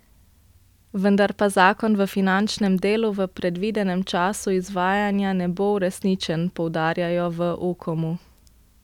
Vendar pa zakon v finančnem delu v predvidenem času izvajanja ne bo uresničen, poudarjajo v Ukomu.